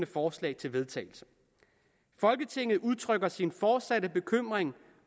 forslag til vedtagelse folketinget udtrykker sin fortsatte bekymring